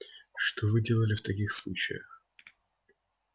что вы делали в таких случаях